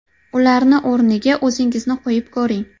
Ularni o‘rniga o‘zingizni qo‘yib ko‘ring.